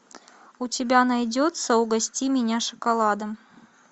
у тебя найдется угости меня шоколадом